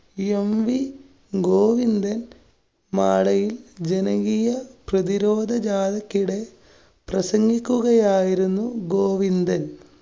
mv Govindan‍. മാളയില്‍ ജനകീയ പ്രതിരോധ ജാഥക്കിടെ പ്രസംഗിക്കുകയായിരുന്നു ഗോവിന്ദന്‍.